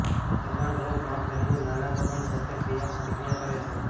દબાણ ડ્રોપ માપ દરમિયાન નાના દબાણ સાથે ક્રિયાપ્રતિક્રિયા કરે છે